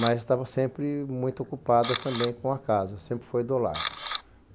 Mas estava sempre muito ocupada também com a casa, sempre foi do lar.